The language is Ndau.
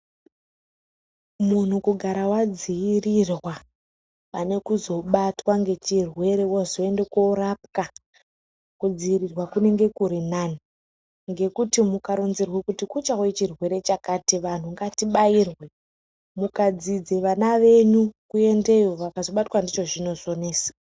Munhu kugara wadzivirirwa pane kuzobatwa nechirwere wozoenda ,korapwa kudziirirwa kunenge kuri nani ngekuti mukaronzerwa ,kuti kuchauya chirwere chakati vanhu ngatibairwe mukadziise vana venyu kuendeyo vakazopatwa ndicho zvozonesa .